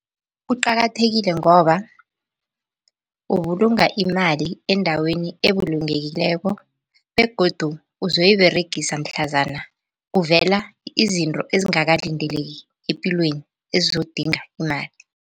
Kuqakathekile ngoba ubulunga imali endaweni ebulungekileko begodu uzoyiberegisa mhlazana kuvela izinto ezingakalindeleki epilweni ezizokudinga imali.